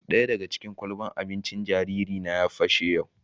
Daya daga cikin ƙwalɓan abincin jariri na ya pashe yau